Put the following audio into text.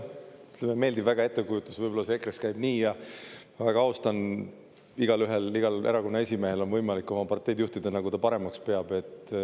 Mulle, jah, meeldib väga ettekujutus, võib-olla see EKRE-s käib nii ja ma väga austan, igaühel, igal erakonna esimehel on võimalik oma parteid juhtida, nagu ta paremaks peab.